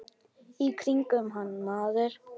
Í kringum hann maður.